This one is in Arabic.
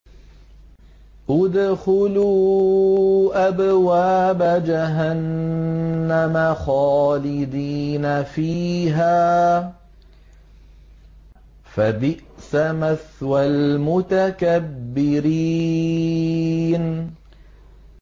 ادْخُلُوا أَبْوَابَ جَهَنَّمَ خَالِدِينَ فِيهَا ۖ فَبِئْسَ مَثْوَى الْمُتَكَبِّرِينَ